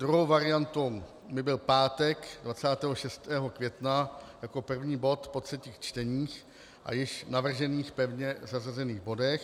Druhou variantou by byl pátek 26. května jako první bod po třetích čteních a již navržených pevně zařazených bodech.